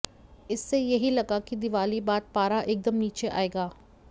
इससे यही लगा कि दिवाली बाद पारा एकदम नीचे आएगा